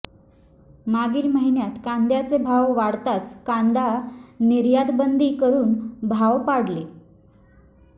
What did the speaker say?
मागील महिन्यात कांद्याचे भाव वाढताच कांदा निर्यातबंदी करुन भाव पाडले